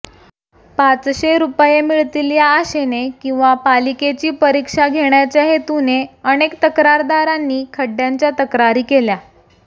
पाचशे रुपये मिळतील या आशेने किंवा पालिकेची परीक्षा घेण्याच्या हेतूने अनेक तक्रारदारांनी खड्डय़ांच्या तक्रारी केल्या